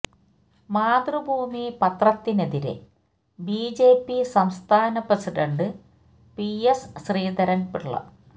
മാതൃഭൂമി പത്രത്തിനെതിരെ ബിജെപി സംസ്ഥാന president P S ശ്രീധരന് പിള്ള